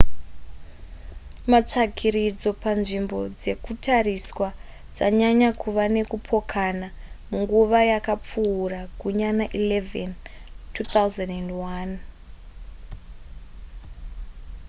matsvagiridzo panzvimbo dzekutariswa dzanyanya kuva nekupokana munguva yakapfuura gunyana 11 2001